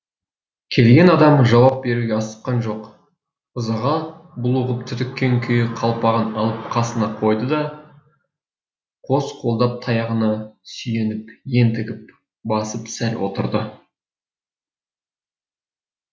келген адам жауап беруге асыққан жоқ ызаға булығып түтіккен күйі қалпағын алып қасына қойды да қос қолдап таяғына сүйеніп ентігіп басып сәл отырды